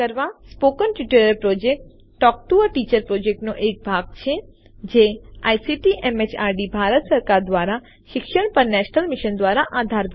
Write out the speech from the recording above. spoken tutorial project talk to a teacher પ્રોજેક્ટનો એક ભાગ છે જે આઇસીટી એમએચઆરડી ભારત સરકાર દ્વારા શિક્ષણ પર નેશનલ મિશન દ્વારા આધારભૂત છે